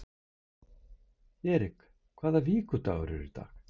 Erik, hvaða vikudagur er í dag?